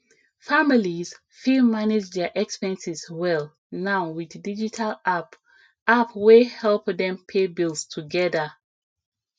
families fit manage dia expenses well now wit digital app app wey help dem pay bills together